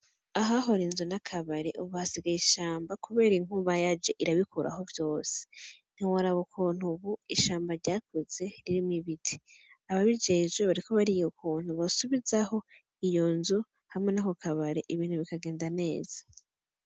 Ahahora inzu n' akabari ubu hasigaye ishamba kubera inkuba yaje irabikuraho vyose. Ntiworaba ukuntu ubu ishamba ryakuze ririmwo ibiti. Ababijejwe bariko bariyo ukuntu bosubizaho iyo nzu hamwe n'ako kabare, ibintu bikagenda neza.